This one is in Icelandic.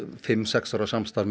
fimm sex ára samstarf með